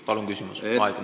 Palun küsimus!